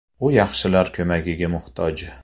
U yaxshilar ko‘magiga muhtoj.